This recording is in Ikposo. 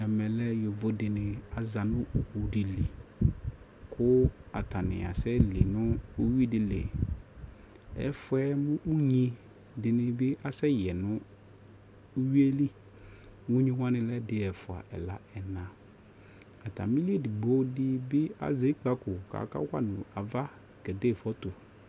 ɛmɛ lɛyɔvɔ dini azanʋ ɔwʋ dili kʋ atani asɛ li nʋ ʋwidili, ɛƒʋɛ mʋ ʋnyi dibi asɛ yɛnʋ ʋwiɛli, ʋnyi wani lɛ ɛdi, ɛƒʋa, ɛla, ɛna atamili ɛdigbɔ di bi azɛ ikpakɔ kʋ ɔka wanʋaɣa kɛdɛ phɔtɔ